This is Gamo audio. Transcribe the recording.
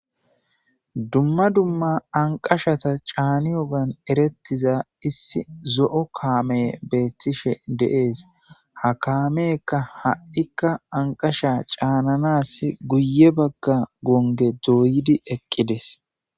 Dumma dumma anqashata caani yogan erettiza issi zo7o kaame beethtishe de7es ha kameka ha7ikka anqasha caananas guye bagga gonge dooyidi eqqides.